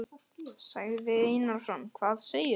Sigurður Einarsson: Hvað segirðu?